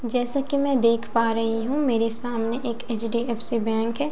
जैसा कि मैं देख पा रही हूं। मेरे सामने एक एच_डी_एफ_सी बैंक है।